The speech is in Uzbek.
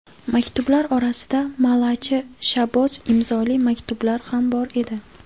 Maktublar orasida Malachi Shaboz imzoli maktublar ham bor edi.